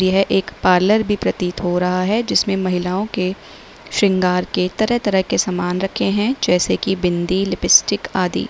यह एक पार्लर भी प्रतीत हो रहा है जिसमें महिलाओं के श्रृंगार के तरह तरह के सामान रखे हैं जैसे कि बिंदी लिपस्टिक आदि।